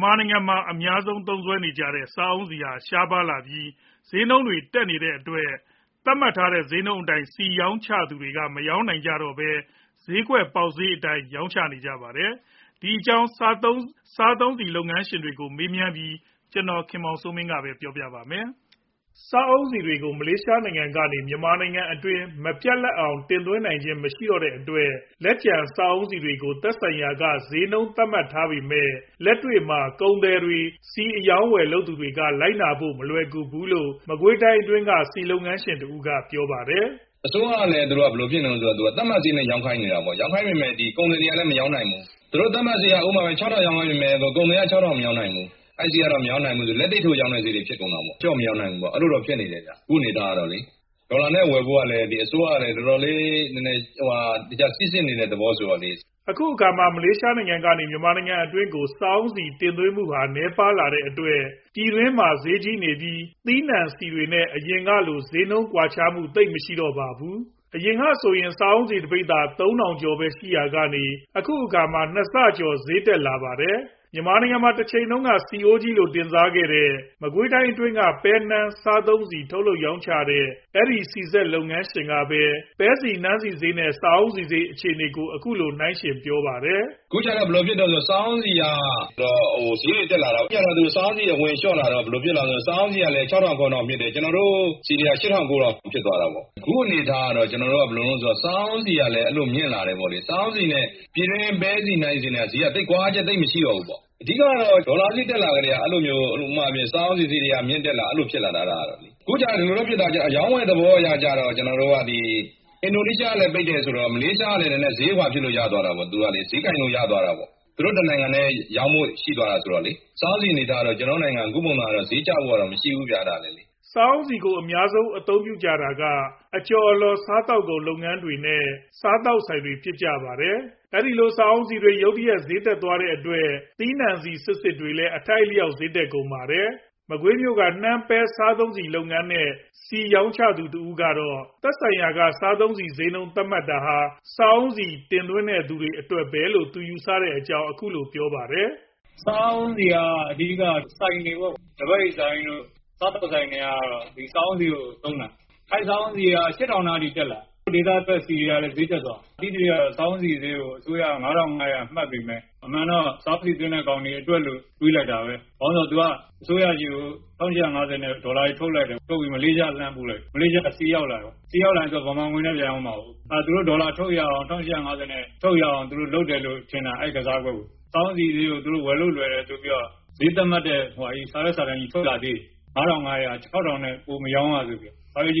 ်မာနိုင်ငံမှာ အများဆုံးသုံးစွဲနေကြတဲ့ စာအုန်းဆီ ရှားပါးလာပြီး ဈေးနှုန်းတွေတက်နေတဲ့အတွက် သတ်မှတ်ထားတဲ့ ဈေးနှုန်းအတိုင်း ဆီရောင်းချသူတွေ မရောင်းချနိုင်ပဲ ဈေးကွက် ပေါက်ဈေးအတိုင်း ရောင်းချနေကြပါတယ်။ ဒီအကြောင်း စားသုံးဆီလုပ်ငန်းရှင်တွေကို မေးမြန်းပြီး ကိုခင်မောင်စိုးမင်း က စုစည်းတင်ပြထားပါတယ်။ စားအုန်းဆီတွေကို မလေးရှားနိုင်ငံကနေ မြန်မာနိုင်ငံအတွင်းမပြတ်လပ်အောင် တင်သွင်းနိုင်ခြင်းသိပ်မရှိတော့တဲ့အတွက် လက်ကျန်စားအုန်းဆီတွေကို သက်ဆိုင်ရာက ဈေးနှုန်းသတ်မှတ်ထားပေမယ့် လက်တွေမှာ ကုန်သည်တွေ ၊ ဆီအရောင်းအဝယ်လုပ်ကိုင်သူတွေက လိုကိနာဖို့ မလွယ်ကူဘူးလို့ မကွေးတိုင်းအတွင်းက ဆီလုပ်ငန်းရှင်တဦးက ပြောပါတယ်။ "အစိုးရကလည်း သတ်မှတ်ဈေးနဲ့ ရောင်းခိုင်းနေတာပေါ့။ ကုန်သည်တွေကလည်း မရောင်းနိုင်ဘူး။ သူတို့သတ်မှတ်ဈေးက ၆ ထောင် ရောင်းခိုင်းနေရင် ကုန်သည်က မရောင်းနိုင်ဘူး။ လက်သိပ်ထိုးရောင်းတဲ့ဈေးတွေဖြစ်ကုန်တာပေါ့။ အခုအနေအထားကလေ။ ဒေါ်လာနဲ့ဝယ်ဖို့ကလည်း အစိုးရက စီစစ်နေတဲ့သဘောဆိုတော့လေ" အခုအခါမှာ မလေးရှားနိုင်ငံကနေ မြန်မာနိုင်ငံအတွင်းကို စားအုန်းဆီတင်သွင်းမှုဟာ နည်းပါးလာတဲ့အတွက် ပြည်တွင်းမှာ ဈေးကြီးနေပြီး သီးနှံဆီတွေနဲ့ အရင်ကလို ဈေးနှုန်းကွာခြားချက် သိပ်မရှိတော့ပါဘူး။အရင်ကဆိုရင် စားအုံးဆီကတပိသာ ၃ ထောင်ကျော်ပဲရှိရာကနေ အခုခါမှာ ၂ဆကျော်ဈေးတက်လာပါတယ်။ မြန်မာနိုင်ငံမှာ တချိန်တုံးက ဆီးအိုးကြီးလို့ တင်စားခဲ့တဲ့ မကွေးတိုင်းအတွင်းက ပဲနှမ်း စားသုံးဆီ ထုတ်လုပ်ရောင်းချတဲ့ အဲဒီ ဆီစက်လုပ်ငန်းရှင်ကပဲ ပဲဆီ၊ နှမ်းဆီ ဈေး နဲ့ စားအုန်းဆီဈေး အခြေအနေကို အခုလို နှိုင်းယှဉ်ပြောပြပါတယ် ။ "အခုကြတော့ စားအုန်းဆီက ဈေးတွေတက်လာတာပေါ့။ စားအုန်းဆီအဝင်လျှော့လာတော့ စားအုန်းဆီကလည်း ၆ ထောင် ၇ ထောင်ဖြစ်လာတယ်။ ကျနော်တို့သီးနှံဆီတွေက ၈ ထောင် ၉ ထောင်ဖြစ်သွားတာပေါ့။ အခုအနေအထားကတော့ စားအုန်းဆီကလည်း မြင့်လာတယ်ပေါ့လေ။ ပြည်တွင်း ပဲဆီနှမ်းဆီနဲ့က သိပ်ကွာဟချက်မရှိတော့ဘူးပေါ့။ အဓိက ကတော့ ဒေါ်လာဈေးတက်လာကတည်းက စားအုန်းဆီဈေးတွေက မြင့်လာတာ။ အရောင်းဝယ်သဘောအရ အင်ဒိုနီးရှားကလည်း ပိတ်တယ်ဆိုတော့ မလေးရှားက ဈေးကိုင်လို့ရသွားတာပေါ့။ သူတို့ တနိုင်ငံထဲရောင်းဖို့ရှိသွားတာဆိုတော့လေ။ စားအုန်းဆီအနေအထားက ကျနော်တို့နိုင်ငံ ဈေးကျဖို့က မရှိဘူးဗျ" စားအုန်းဆီကို အများဆုံး အသုံးပြုကြတာက အကြော်အလှော် စားသုံးကုန်လုပ်တဲ့လုပ်ငန်းတွေ နဲ့ စားသောက်ဆိုင် လုပ်ငန်းတွေဖြစ်ကြပါတယ်။ အဲဒီလို စားအုန်းဆီဈေးတွေ ရုတ်တရက်တက်သွားတဲ့အတွက် သီးနှံဆီစစ်စစ်တွေလည်း အထိုက်အလျှောက်ဈေးတက်ကုန်ပါတယ်။ မကွေးမြို့က နှမ်းပဲ စားသုံးဆီဆုံလုပ်ငန်းနဲ့ ဆီရောင်းချသူတဦး ကတော့ သက်ဆိုင်ရာက စားသုံးဆီဈေးနှုန်းသတ်မှတ်တာဟာ စားအုန်းဆီတင်သွင်းတဲ့သူတွေ အတွက်ပဲလို့ သူယူဆတဲ့အကြောင်းပြောပါတယ်။ "စားအုန်းဆီက အဓိက ဆိုင်တွေပေါ့။ လဘက်ရည်ဆိုင်တွေတို့ စားသောက်ဆိုင်တွေပေါ့ အဓိကက စားအုန်းဆီကို သုံးကြတာ။ စားအုန်းဆီက ၈ ထောင်နားအထိတက်လာတာ။ ဒေသထွက်ဆီတွေကလည်း ဈေးတက်သွားတာ။ သိသရွေ့ကတော့ စားအုန်းဆီဈေးကို အစိုးရက ၅ ထောင် ၅ရာသတ်မှတ်ပေမယ့် အမှန်တော့ စားအုန်းဆီသွင်းတဲ့သူတွေအတွက်လို့ တွေးလိုက်တာပဲ။ ဘာလိုဆိုတော့ အစိုးရဆီကို ၁၈၅ဝကျပ်နဲ့ ဒေါ်လာတွေထုတ်လုပ်တယ်။ထုတ်ပြီးတော့ မလေးရှားပို့လိုက်တယ်။ ဆီရောက်လာရင် ဗမာငွေနဲ့ ပြန်ရောင်းမှာကို ။ သူတို့ဒေါ်လာထုတ်ရအောင် လုပ်တယ်လို့ထင်တာ အဲဒီကစားကွက်ကို။ စားအုန်းဆီဈေးကို ဝယ်လို့ လွယ်တယ်ဆိုပြီး ဈေးသတ်မှတ်တဲ့ စာရွက်စာတမ်းကြီးထွက်လာသေးတယ်။ ၅ ထောင် ၅ရာ ၊ ၆ ထောင်ထက်ပိုမရောင်းရဆိုပြီးတော့ " ဆီ